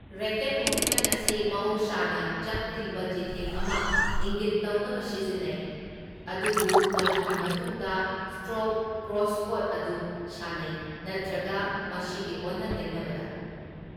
Racket movement ꯑꯁꯤ ꯃꯍꯧꯁꯥꯅ ꯆꯞ ꯇꯤꯡꯕ ꯆꯤꯊꯦꯛ ꯑꯃ ꯏꯪꯒꯤꯠ ꯇꯧꯅꯕ ꯁꯤꯖꯤꯟꯅꯩ, ꯑꯗꯨꯕꯨ ꯃꯗꯨꯒꯤ ꯃꯇꯨꯡꯗ ꯁꯇ꯭ꯔꯣꯛ ꯀ꯭ꯔꯣꯁꯀꯣꯔꯠ ꯑꯗꯨ ꯁꯥꯟꯅꯩ, ꯅꯠꯇ꯭ꯔꯒ ꯃꯁꯤꯒꯤ ꯑꯣꯟꯅ ꯇꯩꯅꯕꯗ꯫